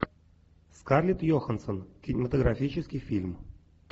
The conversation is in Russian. скарлетт йоханссон кинематографический фильм